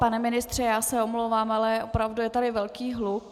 Pane ministře, já se omlouvám, ale opravdu je tady velký hluk.